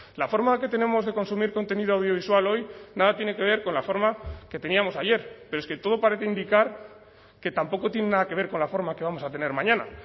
la forma que tenemos de consumir contenido audiovisual hoy nada tiene que ver con la forma que teníamos ayer pero es que todo parece indicar que tampoco tiene nada que ver con la forma que vamos a tener mañana